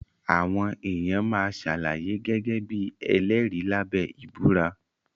Àwọn èèyàn máa ṣàlàyé gẹ́gẹ́ bí ẹlẹ́rìí lábẹ́ ìbúra